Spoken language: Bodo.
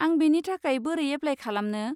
आं बेनि थाखाय बोरै एप्लाय खालामनो?